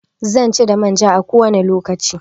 Zanci da manja a kowane lokaci.